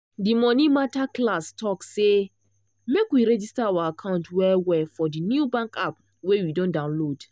de monie mata class talk say make we register our account well well for de new bank app wey we don download.